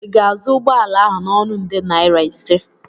ị ga-azụ ụgbọ ala ahụ n'ọnụ nde naira ise?